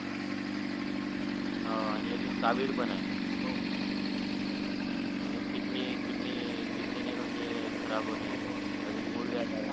हाव आणि अजून कावीळ पण आहे हो हो अजून किडनी किडनी किडनी नाय का म्हणजे खराब होणे हो हो अजून मूळव्याध आहे